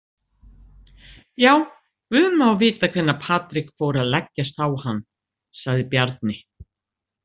Já, guð má vita hvenær Patrik fór að leggjast á hann, sagði Bjarni.